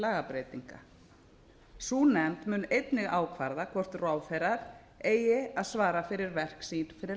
lagabreytinga sú nefnd mun einnig ákvarða hvort ráðherrar eigi að svara fyrir verk sín fyrir